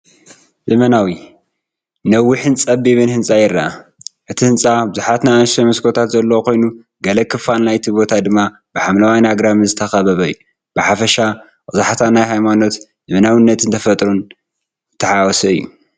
ዘመናዊ፡ ነዊሕን ጸቢብን ህንጻ ይርአ። እቲ ህንጻ ብዙሓት ንኣሽቱ መስኮታት ዘለዎ ኮይኑ፡ ገለ ክፋል ናይቲ ቦታ ድማ ብሓምላይን ኣግራብን ዝተኸበበ እዩ። ብሓፈሻ ቀዛሕታ ናይ ሃይማኖት፣ ዘመናዊነትን ተፈጥሮን ዝተሓዋወሰ እዩ።